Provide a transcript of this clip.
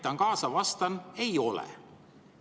Aitan kaasa ja vastan: ei ole.